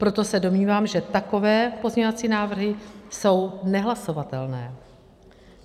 Proto se domnívám, že takové pozměňovací návrhy jsou nehlasovatelné.